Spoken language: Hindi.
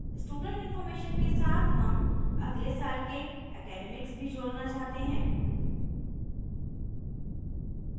student information student इन्फॉर्मेशन के साथ हम अगले साल के academics academics भी जोड़ना चाहते हैं